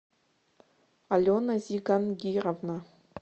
алена зигангировна